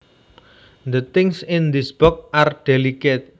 The things in this box are delicate